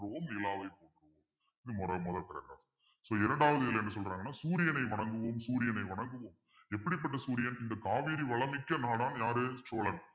போற்றுவோம் நிலாவை so இரண்டாவது இதுல என்ன சொல்றாங்கன்னா சூரியனை வணங்குவோம் சூரியனை வணங்குவோம் எப்படிப்பட்ட சூரியன் இந்த காவேரி வளம் மிக்க நாடாம் யாரு சோழன்